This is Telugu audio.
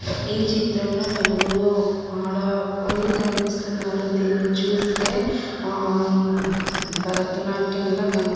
ఈ చిత్రంలో నలుగురు ఆడవాళ్లు కనిపిస్తున్నారు. దీన్ని చుస్తే హ భారతనాట్యంలా కనిపిస్తు --